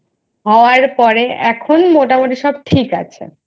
হওয়ার পরে এখন মোটামোটি সব ঠিক আছে।